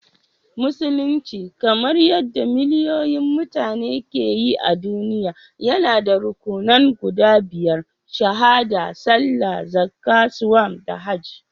Musulunci, kamar yadda miliyoyin mutane ke yi a duniya, yana da rukunnan guda biyar—Shahaɗa, Sallah, Zakka, Sawm, da Hajji